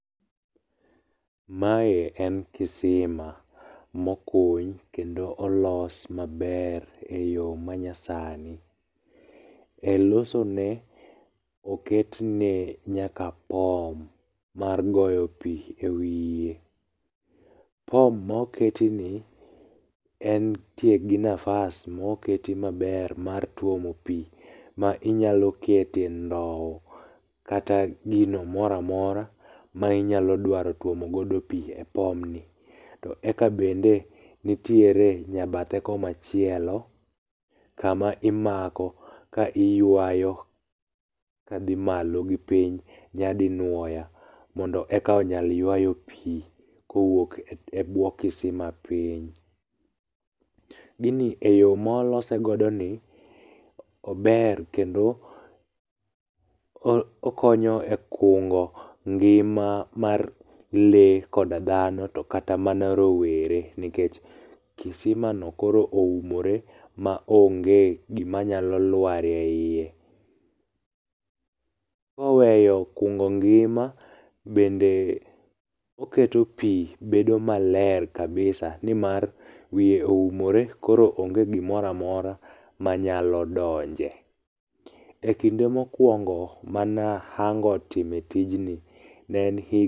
Mae en kisima mokuny kendo olos maber e yo manyasani. E loso ne oketne nyaka pom mar goyo pi e wiye. Pom moketi ni, entie gi nafas moketi maber mar tuomo pi ma inyalokete ndow kata gino moramora ma inyalo twomogodo pi e pomni. To eka bende nitiere nyabathe komachielo, kama imako ka iywayo kadhi malo gi piny nyadinuoya mondo eka onyal ywayo pi kowuok ebwo kisima piny. Gini eyo molosegoni, ober kendo okonyo e kungo ngima mar le koda dhano to kata mana rowere. Nikech kisimano koro oumore ma onge gimanyalo lwarie iye. Koweyo kungo ngima, bende oketo pi bedo maler kabisa nimar wiye oumore koro onge gimoramora manyalo donje. E kinde mokwongo manahango time tijni ne en hig.